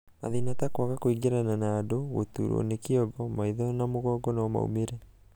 mathĩna ta kwaga kũingĩrana na andũ ,gũturwo nĩ kĩongo, maitho na mũgongo no maumĩre.